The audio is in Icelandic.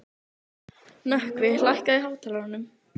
Nökkvi, lækkaðu í hátalaranum.